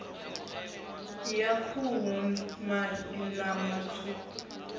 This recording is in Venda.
ya khuhu mafhi ṋama tswuku